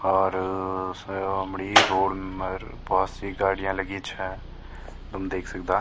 और समणी रोड़ मा भोत सी गाड़ियाँ लगीं छा तुम देख सकदा।